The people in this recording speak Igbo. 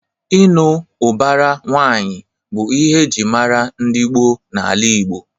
Ịnụ ụbara nwaanyị bụ ihe eji mara ndị gboo na-ala Igbo.